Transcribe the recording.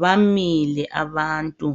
Bamile abantu,